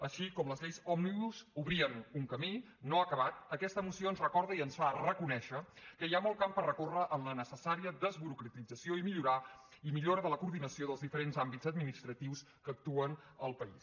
així com les lleis òmnibus obrien un camí no acabat aquesta moció ens recorda i ens fa reconèixer que hi ha molt camp per recórrer en la necessària desburocratització i millora de la coordinació dels diferents àmbits administratius que actuen al país